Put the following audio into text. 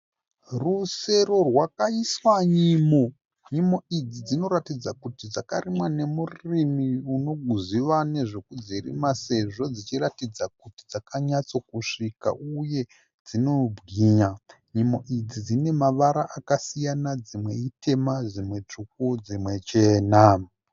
Rusero rwakaiswa nyimo. Nyimo idzi dzinoratidza kuti dzakarimwa nemurimi unoziva nezvekudzirima sezvo dzichiratidza kuti dzakanyatso kusvika. Uye dzinobwinya. Nyimo idzi dzinemavara akasiyana dzimwe ítema, dzimwe tsvuku dzimwe chena.